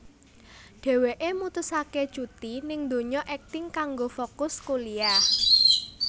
Dheweké mutusaké cuti ning dunya akting kanggo fokus kuliyah